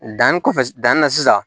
Danni kɔfɛ danni na sisan